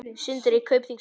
Sindri: Kaupþingsmenn?